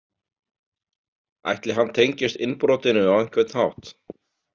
Ætli hann tengist innbrotinu á einhvern hátt?